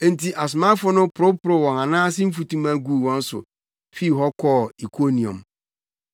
Enti asomafo no poroporow wɔn anan ase mfutuma guu wɔn so fii hɔ kɔɔ Ikoniom.